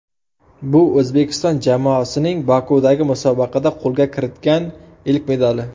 Bu O‘zbekiston jamoasining Bokudagi musobaqada qo‘lga kiritgan ilk medali.